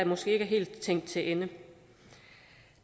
måske ikke er helt tænkt til ende